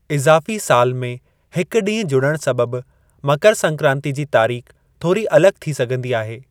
इज़ाफ़ी साल में हिकु डीं॒हु जुड़ण सबबु मकर संक्रांति जी तारीख़ थोरी अलगि॒ थी सघिन्दी आहे।